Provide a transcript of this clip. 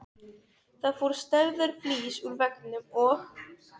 Það fór stærðar flís úr veggnum og